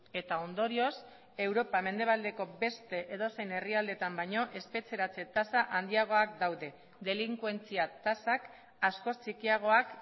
eta ondorioz europa mendebaldeko beste edozein herrialdeetan baino espetxeratze tasa handiagoak daude delinkuentzia tasak askoz txikiagoak